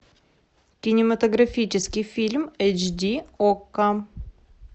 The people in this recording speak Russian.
кинематографический фильм эйч ди окко